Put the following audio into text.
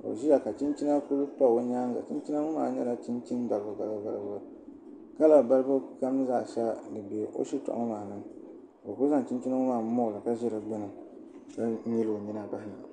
ka o ʒiya ka chinchina ku pa o nyaanga chinchina ŋo maa nyɛla balibu balibu kala kam zaa biɛni ka o ku ʒi di gbuni nyili o nyina bahana